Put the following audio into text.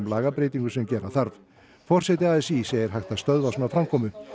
lagabreytingum sem gera þarf forseti a s í segir hægt að stöðva svona framkomu